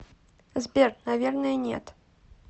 сбер наверное нет